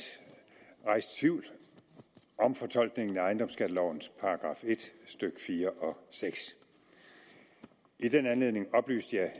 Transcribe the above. rejst tvivl om fortolkningen af ejendomsskattelovens § en stykke fire og sjette i den anledning oplyste